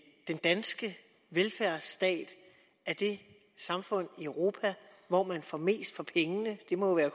den danske velfærdsstat er det samfund i europa hvor man får mest for pengene det må jo